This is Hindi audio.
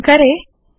संकलन करे